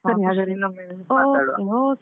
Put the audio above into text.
ಸರಿ ಹಾಗಾದ್ರೆ ಇನ್ನೊಮ್ಮೆ ಮಾತಾಡುವ.